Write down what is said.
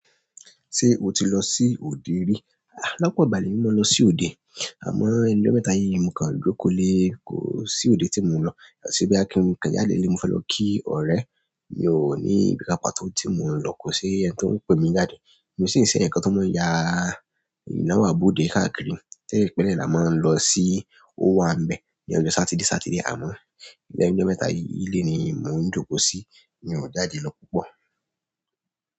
Ṣé o ti lọ sí òde rí? Àlọ́pọ̀ ìgbà ni mò ń lọ sí òde, àmọ́ ẹnu mẹ́ta yìí ni mò ń kan dúró kò lè kó sí òde tí mò ń lọ. Ṣé bí á kí n kẹjáde lé, mo fẹ́ lọ kí ọ̀rẹ́, mi ò ní ibi kankan tó tí mò ń lọ, kò sí ẹni tó ń pè mi jáde. Miì sì ń ṣéèyàn kan tó máa ń ya ìnáwó àbóde káàkiri tẹ́lẹ̀ pẹ́lẹ́ là má ń lọ sí ówàńbẹ̀ ní ọjọ́ Sátidé Sátidé, àmọ́ lẹ́nu ọjọ́ mẹ́ta yìí ilé ni mò ń jókòó sí, mi ò jáde lọ púpọ̀.